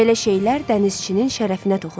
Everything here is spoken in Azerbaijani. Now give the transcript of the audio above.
Belə şeylər dənizçinin şərəfinə toxunur.